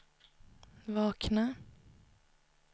vakna